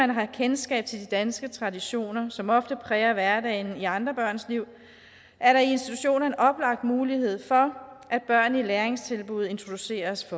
man har kendskab til de danske traditioner som ofte præger hverdagen i andre børns liv er der i institutionen en oplagt mulighed for at børn i læringstilbud introduceres